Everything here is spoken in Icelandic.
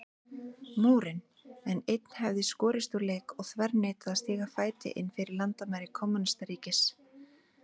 Múrinn, en einn hefði skorist úr leik og þverneitað að stíga fæti innfyrir landamæri kommúnistaríkis.